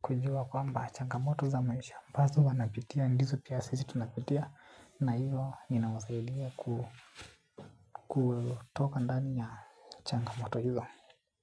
Kujua kwamba changamoto za maisha. Ambazo wanapitia, ndizo pia sisi tunapitia. Na hiyo, ninawasaidia kutoka ndani ya changamoto hiyo.